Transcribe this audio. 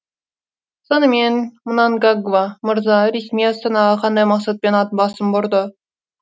сонымен мнангагва мырза ресми астанаға қандай мақсатпен ат басын бұрды